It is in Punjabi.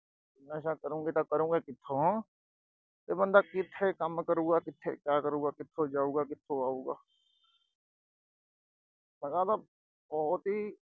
ਨਸ਼ਾ ਕਰੋਂਗੇ ਤਾਂ ਕਰੋਂਗੇ ਕਿੱਥੋਂ ਅਹ ਤੇ ਬੰਦਾ ਕਿੱਥੇ ਕੰਮ ਕਰੂਗਾ, ਕਿੱਥੇ ਕਿਆ ਕਰੂਗਾ, ਕਿੱਥੋਂ ਜਾਊਗਾ, ਕਿੱਥੋਂ ਆਊਗਾ। ਮੈਂ ਕਿਹਾ ਆਹ ਤਾਂ ਬਹੁਤ ਹੀ